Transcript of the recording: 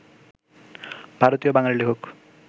ভারতীয় বাঙালি লেখক